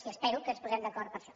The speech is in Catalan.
i espero que ens posem d’acord per a això